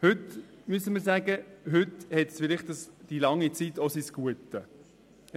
Heute müssen wir sagen, dass diese lange Dauer vielleicht auch ihr Gutes hatte.